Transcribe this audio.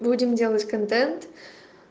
будем делать контент